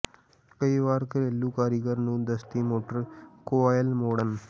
ਕਈ ਵਾਰ ਘਰੇਲੂ ਕਾਰੀਗਰ ਨੂੰ ਦਸਤੀ ਮੋਟਰ ਕੁਆਇਲ ਮੋੜਣ